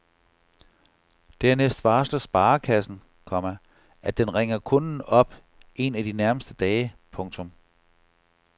Dernæst varsler sparekassen, komma at den ringer kunden op en af de nærmeste dage. punktum